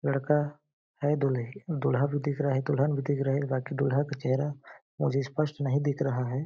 लड़का है दूल्हे-दूल्हा भी दिख रहा है दुल्हन भी दिख रही है बाकी दूल्हा का चेहरा मुझे स्पष्ट नहीं दिख रहा है।